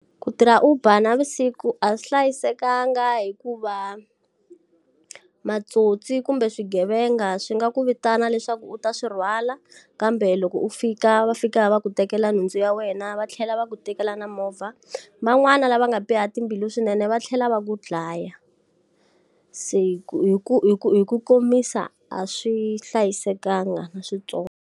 Ku tirha Uber navusiku a swi hlayisekanga hikuva titsotsi kumbe swigevenga swi nga ku vitana leswaku u ta swi rhwala, kambe loko u fika va fika va ku tekela nhundzu ya wena va tlhela va ku tekela na movha. Van'wana lava nga biha timbilu swinene va tlhela va ku dlaya. Se hi ku hi ku hi ku hi ku komisa a swi hlayisekanga na swintsongo.